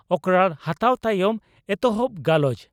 ᱚᱠᱨᱟᱲ ᱦᱟᱛᱟᱣ ᱛᱟᱭᱚᱢ ᱮᱛᱚᱦᱚᱵ ᱜᱟᱞᱚᱪ